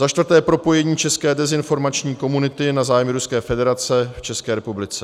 za čtvrté: propojení české dezinformační komunity na zájmy Ruské federace v České republice;